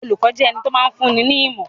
Olùkọ́ jẹ́ ẹni tó máa ń fúnni ní ìmọ̀.